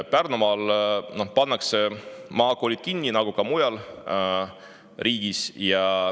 Pärnumaal pannakse maakoolid kinni nagu ka mujal riigis.